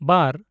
ᱵᱟᱨ